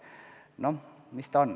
Noh, mis ta on?